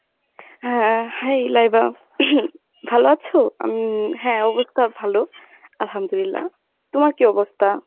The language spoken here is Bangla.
হ্যাঁ hi লাইবা ভালো আছো? আমি হ্যাঁ অবস্থা ভালো। আলহামদুলিল্লাহ তোমার কী অবস্তা?